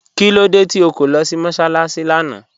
Kílódé tí o kọ̀ lọ́ sí mọ́sálaṣì lána?